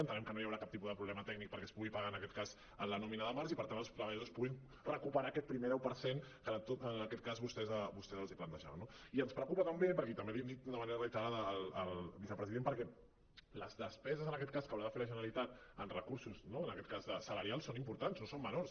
entenem que no hi haurà cap tipus de problema tècnic perquè es pugui pagar en aquest cas en la nòmina del març i per tant els treballadors puguin recuperar aquest primer deu per cent que en aquest cas vostès els plantejaven no i ens preocupa també i també l’hi hem dit d’una manera reiterada al vicepresident perquè les despeses en aquest cas que haurà de fer la generalitat en recursos no en aquest cas salarials són importants no són menors